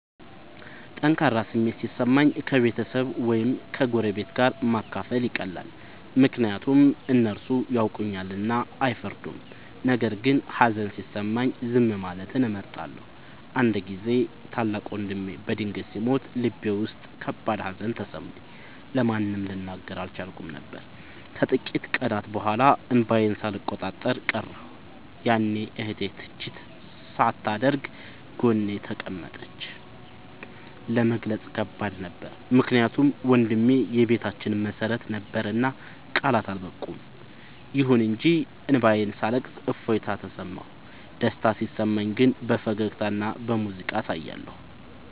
ጠንካራ ስሜት ሲሰማኝ ከቤተሰብ ወይም ከጎረቤት ጋር ማካፈል ይቀላል፤ ምክንያቱም እነሱ ያውቁኛልና አይፈርዱም። ነገር ግን ሀዘን ሲሰማኝ ዝም ማለትን እመርጣለሁ። አንድ ጊዜ ታላቅ ወንድሜ በድንገት ሲሞት ልቤ ውስጥ ከባድ ሀዘን ተሰማኝ፤ ለማንም ልናገር አልቻልኩም ነበር። ከጥቂት ቀናት በኋላ እንባዬን ሳልቆጣጠር ቀረሁ፤ ያኔ እህቴ ትችት ሳታደርግ ጎኔ ተቀመጠች። ለመግለጽ ከባድ ነበር ምክንያቱም ወንድሜ የቤታችን መሰረት ነበርና ቃላት አልበቁም። ይሁን እንጂ እንባዬን ሳለቅስ እፎይታ ተሰማሁ። ደስታ ሲሰማኝ ግን በፈገግታና በሙዚቃ አሳያለሁ።